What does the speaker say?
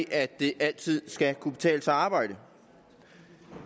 at det altid skal kunne betale sig at arbejde at